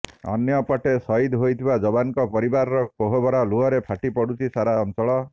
ଅନ୍ୟପଟେ ସହିଦ ହୋଇଥିବା ଯବାନଙ୍କ ପରିବାରର କୋହଭରା ଲୁହରେ ଫାଟି ପଡୁଛି ସାରା ଅଞ୍ଚଳ